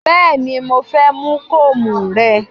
Bẹ́ẹ̀ni mo fẹ́ mú kóòmù rẹ